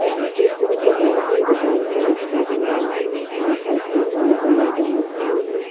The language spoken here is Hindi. यह चित्र कपड़ों की दुकान का दिखाई दे रहा है जहाँ पर तीन अलग-अलग डमी खड़ी हैं।